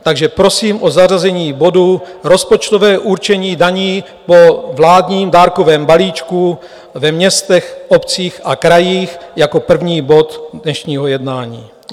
Takže prosím o zařazení bodu Rozpočtové určení daní po vládním dárkovém balíčku ve městech, obcích a krajích jako první bod dnešního jednání.